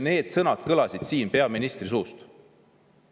Need sõnad kõlasid siin peaministri suust.